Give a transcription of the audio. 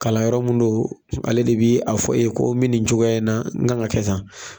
Kalan yɔrɔ mun don ale de bɛ a fɔ i ye ko mi nin cogoya in na n kan ka kɛ tan